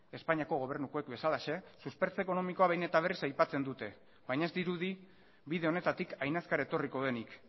espainiako gobernukoek bezalaxe suspertze ekonomikoa behin eta berriz aipatzen dute baina ez dirudi bide honetatik hain azkar etorriko denik